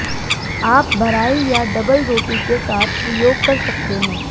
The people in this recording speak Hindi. आप भराई या डबल रोटी के साथ प्रयोग कर सकते हैं